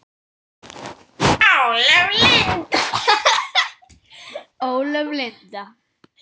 Ólöf Linda.